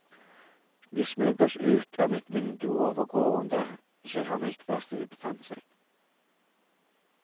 Vi smøg oss ut av mitt vindu og over gården der keramikkverkstedet befant seg.